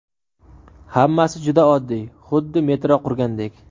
Hammasi juda oddiy, xuddi metro qurgandek.